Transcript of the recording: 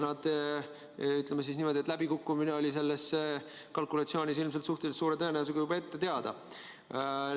Ütleme niimoodi, et läbikukkumine oli selle kalkulatsiooni korral ilmselt suhteliselt suure tõenäosusega juba ette teada.